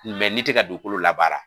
n'i tɛ ka dugukolo labaara